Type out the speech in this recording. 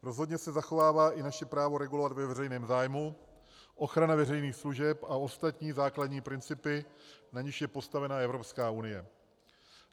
Rozhodně se zachovává i naše právo regulovat ve veřejném zájmu, ochrana veřejných služeb a ostatní základní principy, na nichž je postavena Evropská unie.